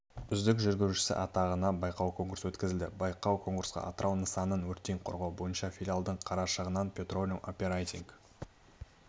үздік жүргізушісі атағына байқау-конкурс өткізілді байқау-конкурсқа атырау нысанын өрттен қорғау бойынша филиалдың қарашығанақ петролеум оперейтинг